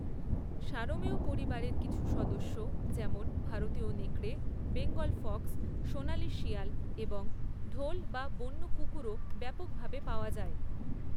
সারমেয় পরিবারের কিছু সদস্য যেমন ভারতীয় নেকড়ে, বেঙ্গল ফক্স, সোনালি শিয়াল এবং ঢোল বা বন্য কুকুরও ব্যাপকভাবে পাওয়া যায়।